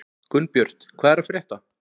Gunnbjört, hvað er að frétta?